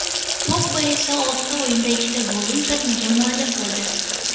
Pogba esa oltita o‘yinda ikkita golli uzatmaga muallif bo‘ldi.